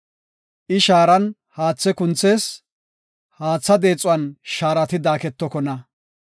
I shaaratan haathe kunthees; haatha deexuwan shaarati daaketokona.